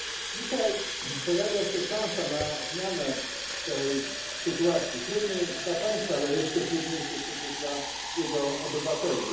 Dzisiaj pojawia się szansa na zmianę tej sytuacji, trudnej dla państwa, ale jeszcze trudniejszej przecież dla jego obywateli.